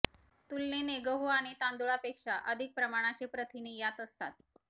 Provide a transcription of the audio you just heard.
तुलनेने गहू आणि तांदूळापेक्षा अधिक प्रमाणाचे प्रथिने याच्यात असतात